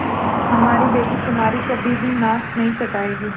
हमारी बेटी तुम्हारी कभी भी नाक नहीं कटायेगी